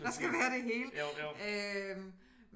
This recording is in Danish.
Der skal være det hele øh